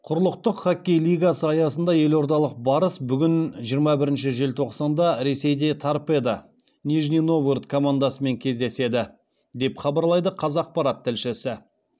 құрлықтық хоккей лигасы аясында елордалық барыс бүгін жиырма бірінші желтоқсанда ресейде торпедо командасымен кездеседі деп хабарлайды қазақпарат тілшісі